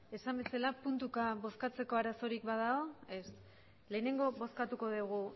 esan bezala puntuka bozkatzeko arazorik badago ez lehenengo bozkatuko dugu